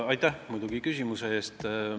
Aitäh küsimuse eest!